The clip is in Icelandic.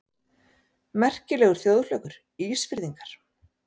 Merkilegur þjóðflokkur, Ísfirðingar!